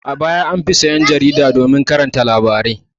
A baya an fi sayan jarida domin karanta labarai.